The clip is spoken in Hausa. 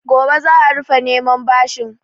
Gobe za a rufe neman bashin.